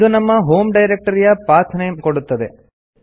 ಇದು ನಮ್ಮ ಹೋಂ ಡೈರೆಕ್ಟರಿಯ ಪಾತ್ ನೇಮ್ ಕೊಡುತ್ತದೆ